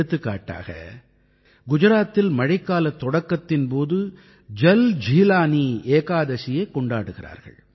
எடுத்துக்காட்டாக குஜராத்தில் மழைக்காலத் தொடக்கத்தின் போது ஜல் ஜீலானீ ஏகாதசியைக் கொண்டாடுகிறார்கள்